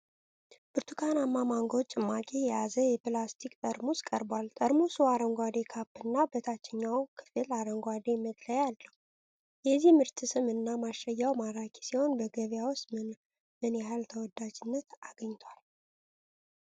ብርቱካናማ ማንጎ ጭማቂ የያዘ የፕላስቲክ ጠርሙስ ቀርቧል፤ ጠርሙሱ አረንጓዴ ካፕ እና በታችኛው ክፍል አረንጓዴ መለያ አለው። የዚህ ምርት ስም እና ማሸጊያ ማራኪ ሲሆን፣ በገበያ ውስጥ ምን ያህል ተወዳጅነት አግኝቷል?